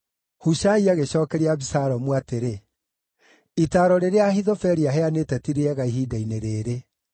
Hushai agĩcookeria Abisalomu atĩrĩ, “Itaaro rĩrĩa Ahithofeli aheanĩte ti rĩega ihinda-inĩ rĩĩrĩ.